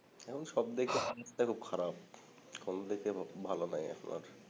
এখন সবদিক থেকে অবস্থা খুব খারাপ কোনদিক দিয়ে খুব ভাল নাই এখন আর